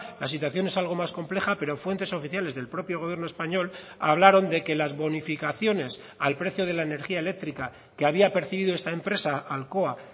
la situación es algo más compleja pero fuentes oficiales del propio gobierno español hablaron de que las bonificaciones al precio de la energía eléctrica que había percibido esta empresa alcoa